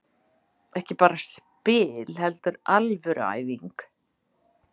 Ekki bara spil heldur alvöru æfing.